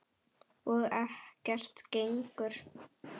Og ekkert gengur.